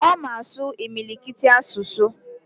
Oma asu imilikiti asusu